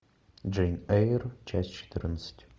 джейн эйр часть четырнадцать